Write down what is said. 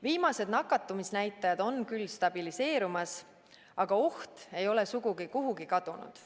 Viimased nakatumisnäitajad on küll stabiliseerumas, aga oht ei ole sugugi kuhugi kadunud.